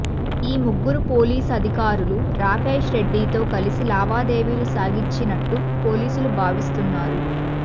ఈ ముగ్గురు పోలీసు అధికారులు రాకేష్రెడ్డితో కలిసి లావాదేవీలు సాగించినట్టు పోలీసులు భావిస్తున్నారు